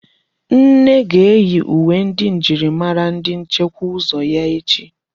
Nne ga-eyi uwe njirimara ndi nchekwa ụzọ ya echi.